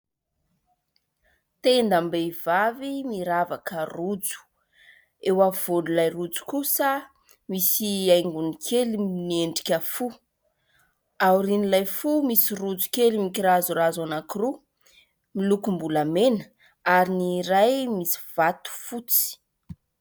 Tendam-behivavy miravaka rojo, eo afovoan'ilay rojo kosa misy haingony kely miendrika fo, ao aorian'ilay fo misy rojo kely mikirazorazo anankiroa milokom-bolamena ary ny iray misy vato fotsy.